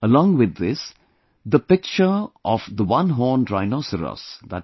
Along with this, the picture of one horned rhinoceros i